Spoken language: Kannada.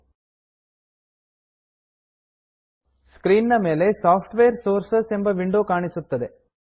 ಸ್ಕ್ರೀನ್ ನ ಮೇಲೆ ಸಾಫ್ಟ್ವೇರ್ Sourcesಸಾಫ್ಟ್ವೇರ್ ಸೋರ್ಸಸ್ ಎಂಬ ವಿಂಡೋ ಕಾಣಿಸುತ್ತದೆ